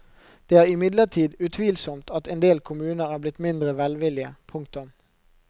Det er imidlertid utvilsomt at endel kommuner er blitt mindre velvillige. punktum